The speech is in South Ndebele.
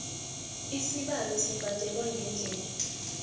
isabelo sibhadelwa ngeendlela